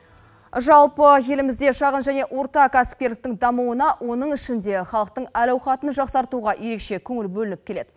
жалпы елімізде шағын және орта кәсіпкерліктің дамуына оның ішінде халықтың әл ауқатын жақсартуға ерекше көңіл бөлініп келеді